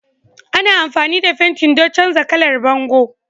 Ana amfani da fenti don canza kalar bango